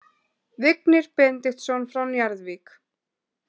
Vignir Benediktsson frá Njarðvík